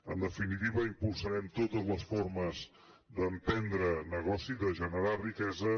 en definitiva impulsarem totes les formes d’emprendre negoci de generar riquesa